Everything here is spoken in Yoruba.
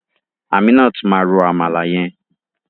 Aminat ma ro àmàlà yẹn.